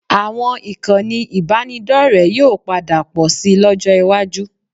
Àwọn ìkànnì ìbánidọ́rẹ̀ẹ́ yóò padà pọ̀ síi lọ́jọ́ iwájú